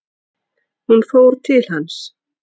Hún fór til hans.